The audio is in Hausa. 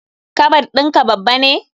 Kabad in ka babba ne?